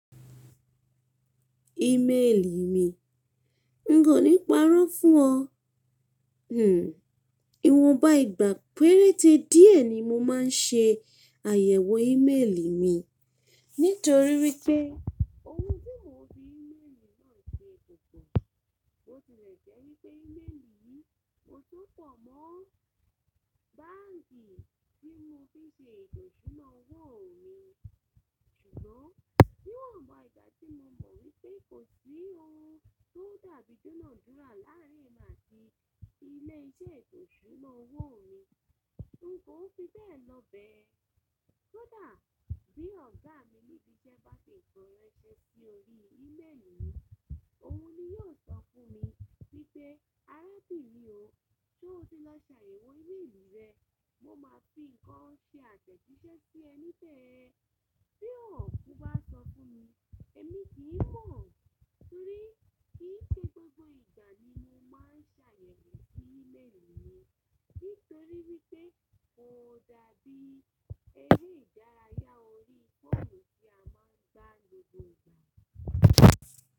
Email mi, n kò ní parọ́ fún ọ. Hmm. Ìwọnba ìgbà péréte díẹ̀ ni mo máa ń ṣe àyẹ̀wò email mi. Nítorí wípé ohun tí mò ń fi email náà ṣe púpọ̀, bo tilẹ̀ jẹ́ wípé email yìí mo só pọ̀ mọ́ báǹkì tí mo fi n ṣe eto ìsuna owó mi. Ṣùgbọ́n níwọnba ìgbà tí mo mọ̀ wípé kò sí ohun tó dàbí idunádúra láàrín mi àti ilé iṣẹ́ eto ìsúnáa owó mi, n kò fi bẹ́ẹ̀ lọ bẹ́. Kodà bí ọ̀gá mi ní ibi iṣẹ́ bá fi nnkan ranṣe sí orí email yìí, òhun ni yóò sọ fún mi wípé arábìnrin o, ṣé o ti lọ ṣàyẹ̀wò email rẹ? Mo máa fi ǹkan ṣe àtẹ̀jíṣẹ́ sí ẹ níbẹ̀. Bí òhun kò bá sọ fún mi, èmi kì í mọ̀. Nítorí kì í ṣe gbogbo ìgbà ni mo máa ń ṣàyẹ̀wò sí email mi. Nítorí wípé kò dàbí eré ìdárayá orí fóònù tí a máa ń gbá lójoojúmọ́.